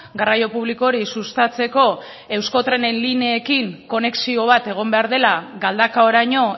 garraio publiko hori sustatzeko euskotrenen lineekin konexio bat egon behar dela galdakaoraino